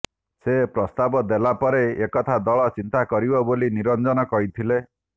ସେ ପ୍ରସ୍ତାବ ଦେଲା ପରେ ଏକଥା ଦଳ ଚିନ୍ତା କରିବ ବୋଲି ନିରଞ୍ଜନ କହିଥିଲେ